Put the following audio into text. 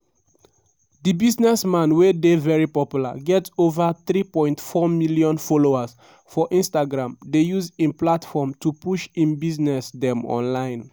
di businessman wey dey very popular get ova 3.4 million followers for instagram dey use im platform to push im business dem online.